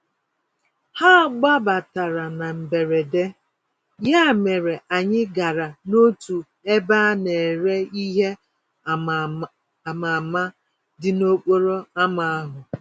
Ha gbabatara na mberede, ya mere anyị gara n'otu ebe a nere ìhè ama-ama, dị n'okporo ámá ahụ.